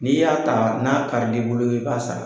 N'i y'a ta n'a karil'i bolo i b'a sara.